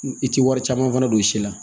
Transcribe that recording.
I tɛ wari caman fana don si la